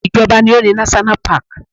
Ìjọba ni ó ni náṣọ́nà paàkì